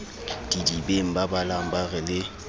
didibeng babalang ba re le